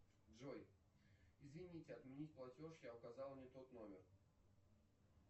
джой извините отменить платеж я указал не тот номер